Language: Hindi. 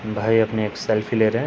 भाई अपने एक सेल्फ़ी ले रहे।